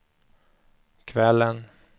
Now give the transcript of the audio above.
kvällen